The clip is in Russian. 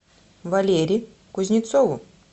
валере кузнецову